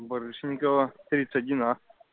барышникова тридцать один а